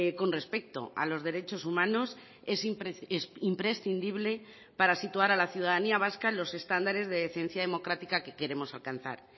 con respecto a los derechos humanos es imprescindible para situar a la ciudadanía vasca en los estándares de decencia democrática que queremos alcanzar